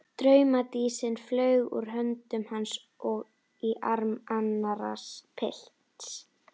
Draumadísin flaug úr höndum hans og í arm annars pilts.